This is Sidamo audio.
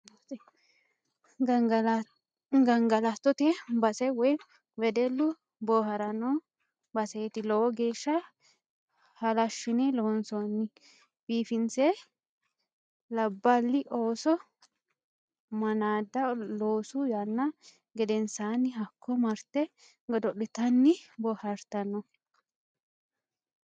Gangalattote base woyi wedellu booharanno baseti lowo geeshsha halashine loonsonni biifinse labbali ooso manada loosu yaanna gedensanni hakko marte godo'littanni boohartanno.